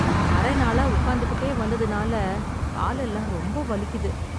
அரை நாளா உட்கார்ந்துகிட்டே வந்ததுனால காலெல்லாம் ரொம்ப வலிக்குது